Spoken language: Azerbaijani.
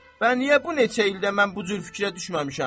Bəs niyə bu neçə ildə mən bu cür fikrə düşməmişəm?